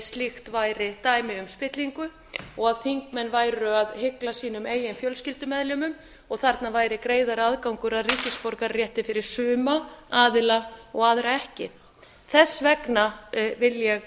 slíkt væri dæmi um spillingu og að þingmenn væru að hygla sínum eigin fjölskyldumeðlimum og þarna væri greiðari aðgangur að ríkisborgararétti fyrir suma aðila og aðra ekki þess vegna vil ég